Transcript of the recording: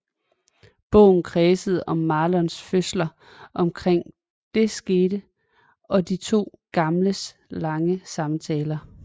Bogen kredser om Marlons følelser omkring det skete og de to gamles lange samtaler